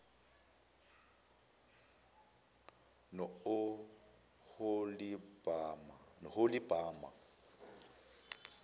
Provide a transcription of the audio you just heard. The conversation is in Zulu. nooholibhama